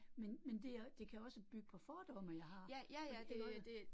Men men det jo det kan også bygge på fordomme, jeg har, for det jo ikke